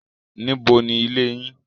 Níbo ni ilé yín?